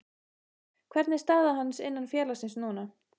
Hvernig er staða hans innan félagsins núna?